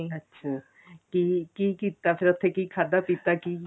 ਅੱਛਾ ਕੀ ਕੀ ਕੀਤਾ ਫੇਰ ਉੱਥੇ ਕੀ ਖਾਧਾ ਪੀਤਾ ਕੀ